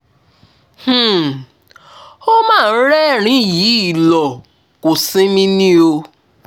um ó mà ń rẹ́rìn-ín yìí lọ kò sinmi ni o